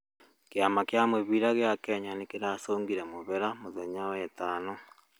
Kĩama kĩa mũbĩra gĩa Kenya nĩkĩracũngĩre mũhera mũthenya wa wetano